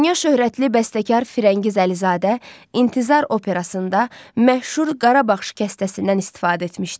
Dünya şöhrətli bəstəkar Firəngiz Əlizadə İntizar operasında məşhur Qarabağ şikəstəsindən istifadə etmişdir.